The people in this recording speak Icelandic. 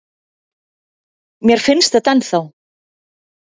Mér finnst þetta ennþá.